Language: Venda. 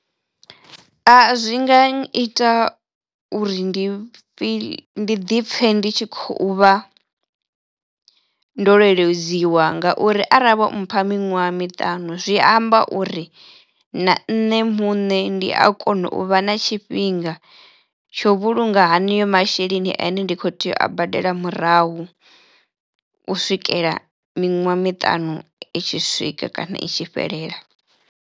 A zwi nga uri ndi fhi ndi ḓipfhe ndi tshi khou vha ndo lweledziwa ngauri arali vho mpha miṅwaha miṱanu zwi amba uri na nṋe muṋe ndi a kono u vha na tshifhinga tsho vhulunga haneyo masheleni ene ndi khou tea u a badela murahu u swikela miṅwaha miṱanu i tshi swika kana i tshi fhelela.